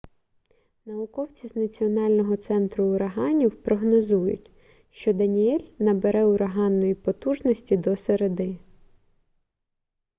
науковці з національного центру ураганів прогнозують що даніель набере ураганної потужності до середи